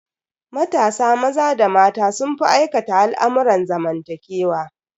Matasa maza da mata sun fi aikata al'amurran zamantakewa.